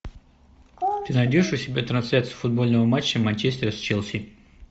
ты найдешь у себя трансляцию футбольного матча манчестера с челси